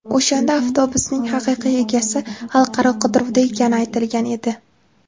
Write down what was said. O‘shanda avtobusning haqiqiy egasi xalqaro qidiruvda ekani aytilgan edi.